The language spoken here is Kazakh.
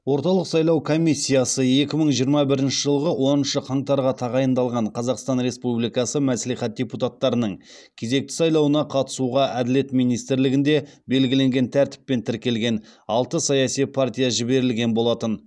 орталық сайлау комиссиясы екі мың жиырма бірінші жылғы оныншы қаңтарға тағайындалған қазақстан республикасы мәслихат депутаттарының кезекті сайлауына қатысуға әділет министрлігінде белгіленген тәртіппен тіркелген алты саяси партия жіберілген болатын